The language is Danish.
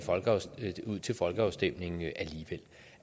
ud til folkeafstemning